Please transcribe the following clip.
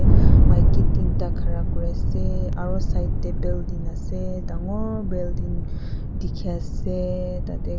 maiki tinta ase khera kori ase aru side teh building dangor building dekhi ase tate.